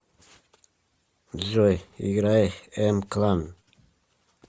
джой играй эм клан